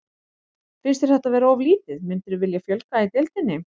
Finnst þér þetta vera of lítið, myndirðu vilja fjölga í deildinni?